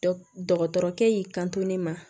Dɔgɔtɔrɔkɛ y'i kanto ne ma